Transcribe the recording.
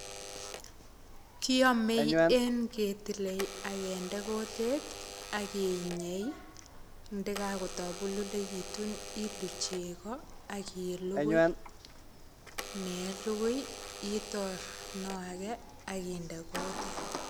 Kiame en ketile, akende kutit akinyei. Ndekakotabululekitun ilu chego, akilugui. Neyalugui, itor noo age, akinde kutit.